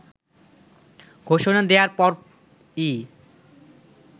ঘোষণা দেয়ার পরই